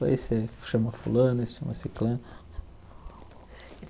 Esse aí chama fulano, esse chama ciclano.